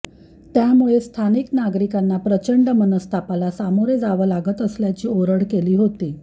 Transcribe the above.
त्यामुळे स्थानिक नागरिकांना प्रचंड मनस्तापाला सामोरं जावं लागत असल्याची ओरड केली होती